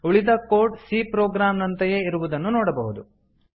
ಉಳಿದ code c program ನಂತೆಯೇ ಇರುವುದನ್ನು ನೋಡಬಹುದು